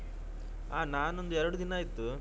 ಹ ನಾನೊಂದು ಎರಡು ದಿನ ಆಯ್ತು.